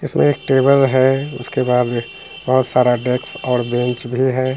इसमें एक टेबल है इसके बाद बहुत सारा डेस्क और बंच भी है।